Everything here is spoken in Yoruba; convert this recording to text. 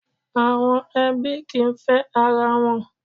Àwọn ẹbí kìí fẹ́ ara wọn.